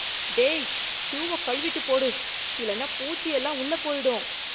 டேய், ஷூவை கழுவிட்டு போடு, இல்லன்னா பூச்சி எல்லாம் உள்ள போயிடும்.